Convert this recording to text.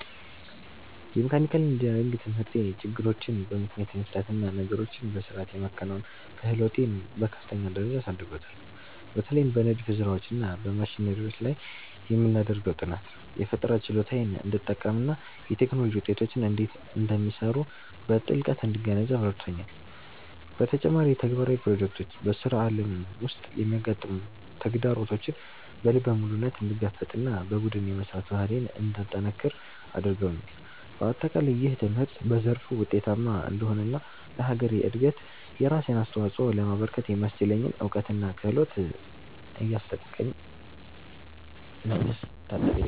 የመካኒካል ኢንጂነሪንግ ትምህርቴ ችግሮችን በምክንያት የመፍታት እና ነገሮችን በሥርዓት የማከናወን ክህሎቴን በከፍተኛ ደረጃ አሳድጎታል። በተለይም በንድፍ ሥራዎች እና በማሽነሪዎች ላይ የምናደርገው ጥናት፣ የፈጠራ ችሎታዬን እንድጠቀምና የቴክኖሎጂ ውጤቶች እንዴት እንደሚሰሩ በጥልቀት እንድገነዘብ ረድቶኛል። በተጨማሪም፣ ተግባራዊ ፕሮጀክቶች በሥራ ዓለም ውስጥ የሚያጋጥሙ ተግዳሮቶችን በልበ ሙሉነት እንድጋፈጥና በቡድን የመሥራት ባህሌን እንዳጠነክር አድርገውኛል። በአጠቃላይ፣ ይህ ትምህርት በዘርፉ ውጤታማ እንድሆንና ለሀገሬ እድገት የራሴን አስተዋፅኦ ለማበርከት የሚያስችለኝን እውቀትና ክህሎት እያስታጠቀኝ ነው።